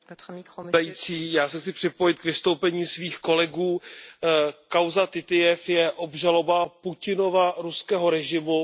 Paní předsedající, já se chci připojit k vystoupení svých kolegů. Kauza Titijev je obžaloba Putinova ruského režimu.